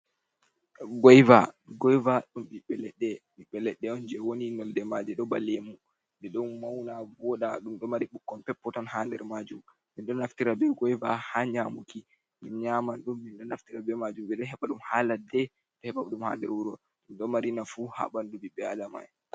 Goiva, goiva ɗum ɓiɓɓe leɗɗe, ɓiɓɓe leɗɗe on je wooni nolde maaje ɗon ba lemu, nden ɗon mauna vooɗa ɗum ɗo maari ɓukkon peppoton ha nder maajum. Men ɗo naftira be goiva ha nƴamuki, men nyaman ɗum, men ɗo naftira be maajum ɓe ɗo heɓa ɗum ha ladde, ɗo hebaɗum ha nder wuro, ɗum ɗo maari naafu ha ɓandu ɓiɓɓe be adama en.